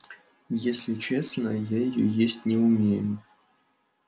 если честно я её есть не умею